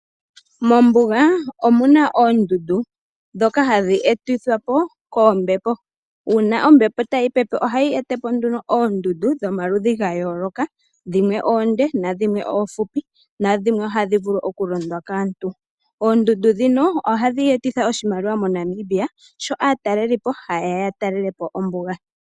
Mombuga omu na oondundu dhoka hadhi eti thwapo koombepo, uuna ombepo tayi pepe ohayi etapo nduno oondundu dhomaludhi ga yooloka, dhimwe oonde, na dhimwe oohupi, na dhimwe oha dhi vulu okulondwa kaantu, oondundu dhino ohadhi etitha oshimaliwa moNamibia sho aatalelipo haye ya ya talelepo ombuga.